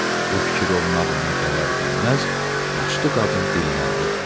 Bu fikir onun ağlına gələr-gəlməz, yaşlı qadın dilləndi: